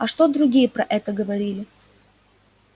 а что другие про это говорили